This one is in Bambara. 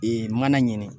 Ee mana ɲini